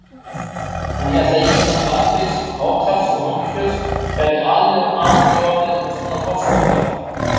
Hann hélt að Ísland harðfisks, hákarls og hangikjöts gæti aldrei orðið svona forstokkað.